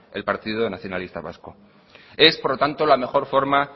el partido nacionalista vasco es por tanto la mejor forma